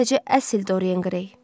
Sadəcə əsl Dorian Qrey.